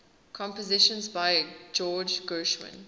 compositions by george gershwin